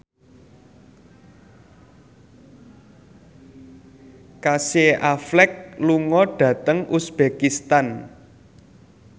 Casey Affleck lunga dhateng uzbekistan